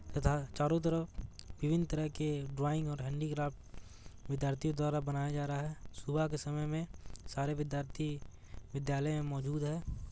तथा चारो तरफ विभिन्न तरह के ड्रॉइंग और हेंडीक्राफ्ट विद्यार्थियों द्वारा बनाया जा रहा है सुबह के समय में सारे विद्यार्थी विद्यालय में मौजूद है।